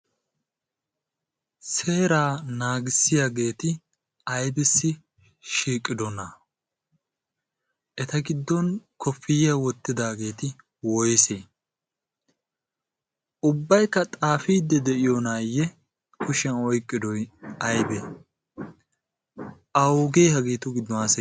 seeraa naagissiyaageeti aybissi shiiqqidona eta giddon kofiyiya wottidaageeti woyse ubbaykka xaafiidde de'iyoo naayye kushiyan oyqqidoy aybee awugee hageetu giddo a ?